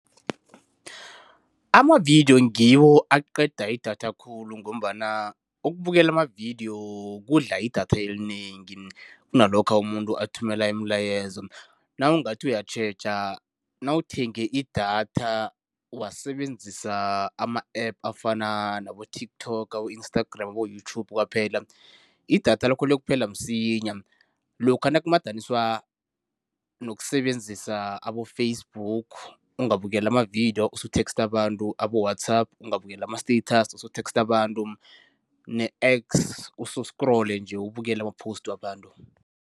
Amavidiyo ngiwo aqeda idatha khulu ngombana ukubukela amavidiyo kudla idatha elinengi kunalokha umuntu athumela imilayezo. Nawungathi uyatjheja, nawuthenge idatha wasebenzisa ama-App afana nabo-TikTok, abo-Instagram, abo-YouTube kwaphela, idatha lakho liyokuphela msinya lokha nakumadaniswa nokusebenzisa abo-Facebook, ungabukeli amavidiyo, usetheksta abantu, aboWhatsApp ungabukeli ama-status, usutheksta abantu ne-X use usikrole nje ubukele ama-post wabantu.